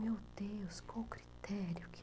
Meu Deus, qual o critério que...